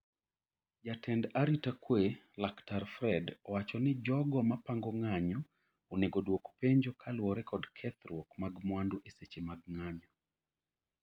Jatend arita we Laktar Fred owacho ni jogo ma pango ng'anyo onego oduok penjo kaluwore kod kethruok mag mwandu e seche mag ng'anyo